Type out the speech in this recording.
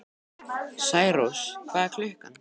Særós, hvað er klukkan?